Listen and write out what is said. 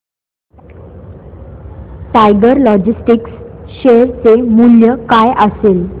tiger logistics share चे मूल्य काय असेल